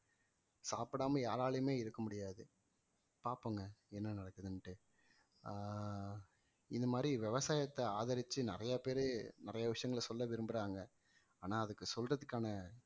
சாப்பிடாம யாராலையுமே இருக்க முடியாது பாப்போங்க என்ன நடக்குதுன்னுட்டு ஆஹ் இது மாதிரி விவசாயத்தை ஆதரிச்சு நிறைய பேரு, நிறைய விஷயங்களை சொல்ல விரும்புறாங்க ஆனா அதுக்கு சொல்றதுக்கான